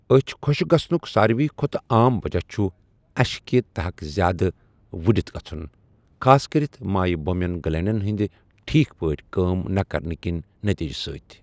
أچھِ خۄشٕک گَژھنُک سارِوٕیہ کھۄتہٕ عام وجہ چُھ اشہِ كہِ تحٗك زیادٕ وٗڈِتھ گژھٗن ، خاص كرِتھ مایہ بومِین گلینڈن ہندِ ٹھیكھ پٲٹھۍ كٲم نہٕ كرنہٕ كہِ نتیجہٕ سۭتۍ ۔